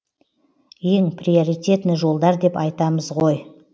ең приоритетный жолдар деп айтамыз ғо